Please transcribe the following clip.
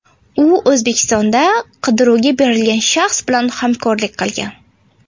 U O‘zbekistonda qidiruvga berilgan shaxs bilan hamkorlik qilgan.